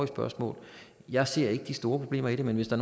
spørgsmål jeg ser ikke de store problemer i det men hvis der